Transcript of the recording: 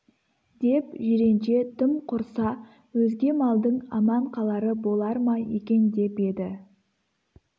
деп жиренше тым құрса өзге малдың аман қалары болар ма екен деп еді